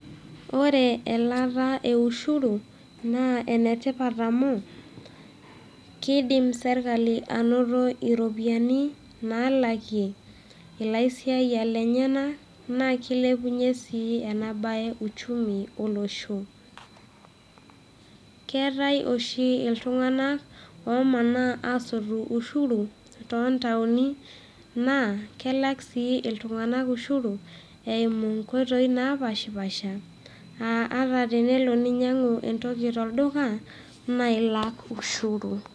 Ore elaata e ushuru, naa enetipat amu, kidim serkali anoto iropiyiani nalakie ilaisiaiyiak lenyanak, na kilepunye si enabae uchumi olosho. Keetae oshi iltung'anak, omanaa asotu ushuru, tontaoni, na kelak si iltung'anak ushuru ,eimu nkoitoii napashipasha, ah ata tenelo ninyang'u entoki tolduka, na ilak ushuru.